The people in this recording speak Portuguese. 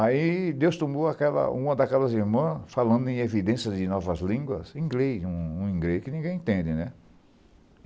Aí Deus tomou uma daquelas irmãs falando em evidências de novas línguas, inglês, um inglês que ninguém entende, né?